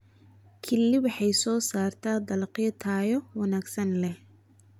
Kili waxay soo saartaa dalagyo tayo wanaagsan leh.